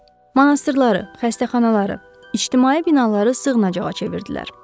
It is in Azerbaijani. Monastırları, xəstəxanaları, ictimai binaları sığınacaq çevirdilər.